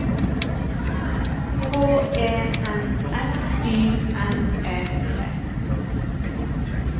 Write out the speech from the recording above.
H E N S Y N E T